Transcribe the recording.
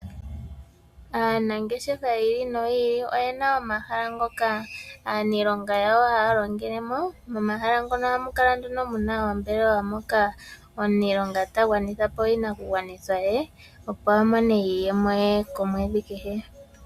Aanangeshefa yi ili noyi ili oye na omahala ngoka aaniilonga yawo haya longele mo, momahala mono ohamu kala nduno muna oombelewa moka omuniilonga ta gwanitha po iinakugwanithwa ye, opo a mone iiyemo ye komwedhi kehe.